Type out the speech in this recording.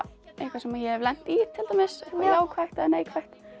eitthvað sem ég hef lent í til dæmis jákvætt eða neikvætt þá